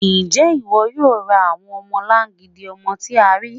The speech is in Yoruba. Ṣé iwó̩ yóò rá awọn ọmọ̀làngídì ọmọ̀ tì à ríí?